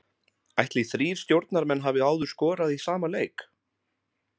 Ætli þrír stjórnarmenn hafi áður skorað í sama leik?